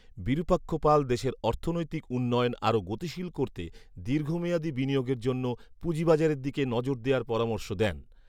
বিরুপাক্ষ পাল দেশের অর্থনৈীতক উন্নয়ন আরো গতিশীল করতে দীর্ঘমেয়াদী বিনিয়োগের জন্য পুঁজিবাজারের দিকে নজর দেয়ার পরামর্শ দেন